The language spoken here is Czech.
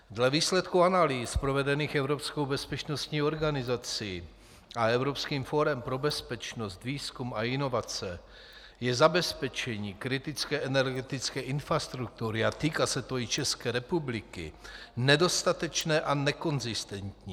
Dle výsledku analýz provedených evropskou bezpečnostní organizací a Evropským fórem pro bezpečnost, výzkum a inovace je zabezpečení kritické energetické infrastruktury, a týká se to i České republiky, nedostatečné a nekonzistentní.